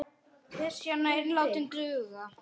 Klisjan ein var látin duga.